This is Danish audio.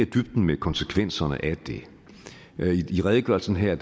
i dybden med konsekvenserne af det i redegørelsen her